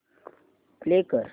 play कर